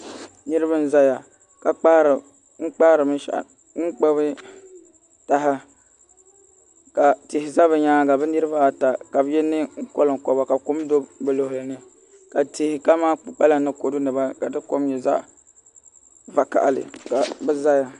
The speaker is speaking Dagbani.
Niraba n ʒɛya ka gbuni binshaɣu ka tihi ʒɛ bi nyaanga bi niraba ata ka bi yɛ neen koŋkoba ka kom do bi luɣuli ni ka tihi kamani kpukpala ni kodu nima ka di kom nyɛ zaɣ vakaɣali ka bi ʒɛya